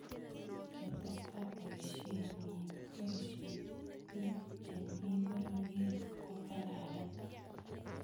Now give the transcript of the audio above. ketesta boisheck eng boishonick che mi pororiet ko kararan